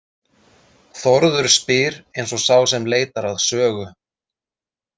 Þórður spyr eins og sá sem leitar að sögu.